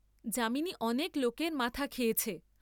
যামিনী অনেক লোকের মাথা খেয়েছে।